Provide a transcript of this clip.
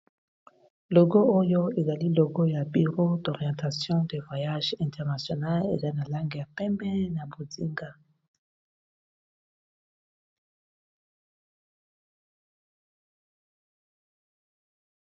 Logo oyo ezali logo ya biro d'orientation de voyage internationale eza na lange ya pembe. na bozinga